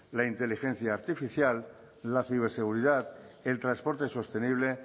la inteligencia artificial la ciberseguridad el transporte sostenible